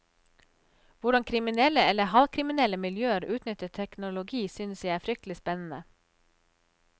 Hvordan kriminelle eller halvkriminelle miljøer utnytter teknologi synes jeg er fryktelig spennende.